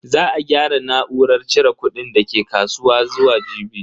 Za a gyara na'urar cire kudin dake kasuwa zuwa jibi.